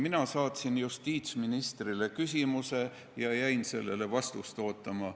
Mina saatsin justiitsministrile küsimuse ja jäin sellele vastust ootama.